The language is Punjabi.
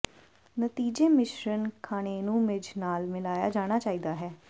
ਨਤੀਜੇ ਮਿਸ਼ਰਣ ਖਾਣੇਨੂੰ ਮਿੱਝ ਨਾਲ ਮਿਲਾਇਆ ਜਾਣਾ ਚਾਹੀਦਾ ਹੈ